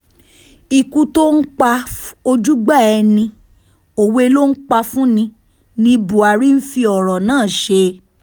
ikú tó ń pa ojúgbà ẹni òwe ló ń pa fún ni ni buhari ń fi ọ̀rọ̀ náà ṣe